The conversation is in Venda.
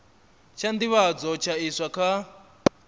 tsha nḓivhadzo tsha iswa kha